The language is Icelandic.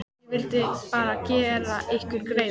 Ég vildi bara gera ykkur greiða.